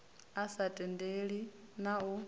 a sa tendelani na u